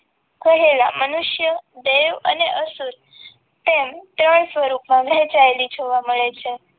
ખોહેલા મનુષ્ય દેવ અને અસુર તેમ ત્રણ સ્વરૂપમાં વહેંચાયેલી જોવા મળે છે.